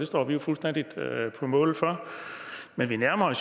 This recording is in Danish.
står vi fuldstændig på mål for men vi nærmer